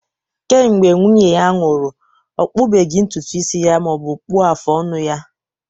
Kemgbe nwunye ya nwụrụ, ọ kpụbeghị ntutu isi ya ma ọ bụ kpụọ afụ ọnụ ya